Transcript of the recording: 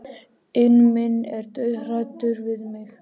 inn minn er dauðhræddur við mig.